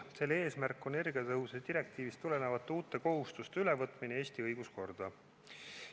Selle eesmärk on energiatõhususe direktiivist tulenevate uute kohustuste ülevõtmine Eesti õiguskorda.